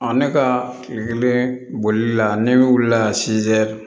ne ka bolila ne wulila